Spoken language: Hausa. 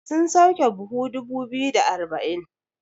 sun sauke buhu dubu biyu da arba'in?